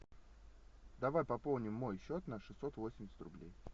давай пополним мой счет на шестьсот восемьдесят рублей